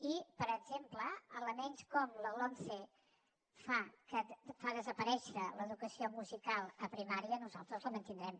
i per exemple elements com la lomce fan desaparèixer l’educació musical a primària nosaltres la mantindrem